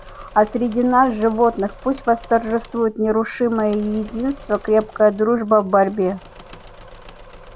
а среди нас животных пусть восторжествует нерушимое единство крепкая дружба в борьбе